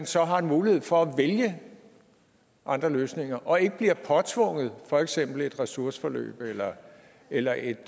så har en mulighed for at vælge andre løsninger og ikke bliver påtvungen for eksempel et ressourceforløb eller eller et